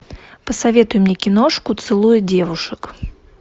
посоветуй мне киношку целуя девушек